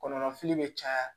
Kɔlɔlɔ fili bɛ caya